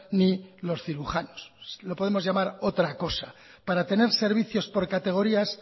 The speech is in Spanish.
ni los cirujanos lo podemos llamar otra cosa para tener servicios por categorías